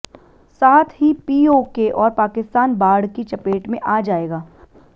साथ ही पीओके और पाकिस्तान बाढ़ की चपेट में आ जाएगा